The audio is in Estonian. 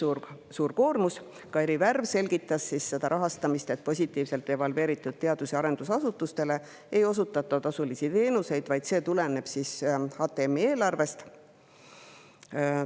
Kairi Värv selgitas seda rahastamist, et positiivselt evalveeritud teadus‑ ja arendusasutustele ei osutata tasulisi teenuseid, vaid see tuleneb HTM-i eelarvest.